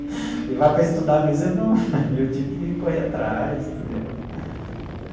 Ele vai para estudar, mas eu não, e eu tinha que correr atrás, entendeu?